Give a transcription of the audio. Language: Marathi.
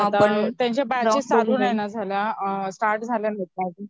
त्यांच्या बॅच चालू नाही ना झाल्या स्टार्ट झाल्या का?